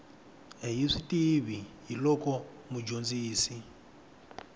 hi swi tiva hiloko mudyondzisi